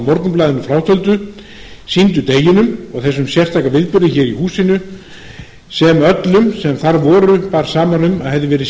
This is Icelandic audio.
morgunblaðinu frátöldu sýndu deginum og þessum sérstaka viðburði hér í húsinu sem öllum sem þar voru bar saman um að hefði verið